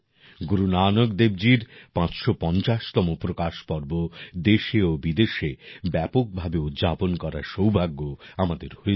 গুরু নানক দেবজীর ৫৫০তম প্রকাশ পর্ব দেশে ও বিদেশে ব্যাপকভাবে উদযাপন করার সৌভাগ্য আমাদের হয়েছিল